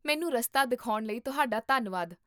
ਮੈਨੂੰ ਰਸਤਾ ਦਿਖਾਉਣ ਲਈ ਤੁਹਾਡਾ ਧੰਨਵਾਦ